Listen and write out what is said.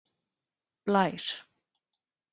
Blær